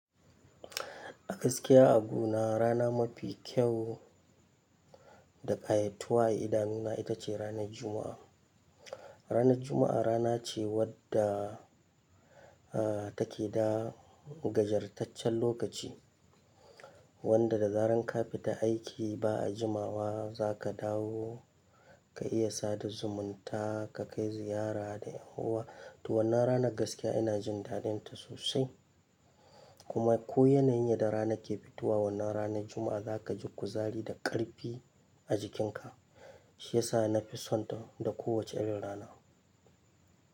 A gaskiya a guna rana mafi kyau da ƙayatuwa a idanuna ita ce ranar Juma'a. Ranar Juma'a rana ce wadda take da gajartaccen lokaci wanda da zaran ka fita aiki ba a jimawa za ka dawo ka iya sada zumunta ka kai ziyara da yan uwa. To wannan ranar gaskiya ina jin dadinta sosai kuma ko yanayin da rana ke fitowa wannan ranar Juma'a za ka ji kuzari da ƙarfi a jikinka shiyasa na fi sonta da kowace irin rana.